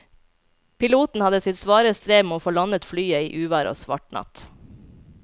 Piloten hadde sitt svare strev med å få landet flyet i uvær og svart natt.